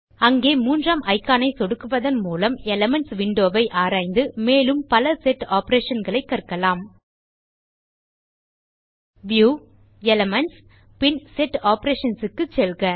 அங்கே மூன்றாம் இக்கான் ஐ சொடுக்குவதன் மூலம் எலிமென்ட்ஸ் விண்டோ ஐ ஆராய்ந்து மேலும் பல செட் ஆப்பரேஷன் களை கற்கலாம் வியூக்ட் எலிமென்ட்ஸ்க்ட் பின் செட் Operationsக்கு செல்க